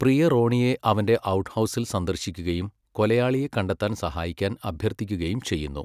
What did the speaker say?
പ്രിയ റോണിയെ അവന്റെ ഔട്ട്ഹൗസിൽ സന്ദർശിക്കുകയും കൊലയാളിയെ കണ്ടെത്താൻ സഹായിക്കാൻ അഭ്യർത്ഥിക്കുകയും ചെയ്യുന്നു.